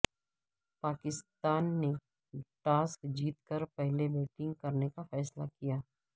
پاکستان نے ٹاس جیت کر پہلے بیٹنگ کرنے کا فصیلہ کیا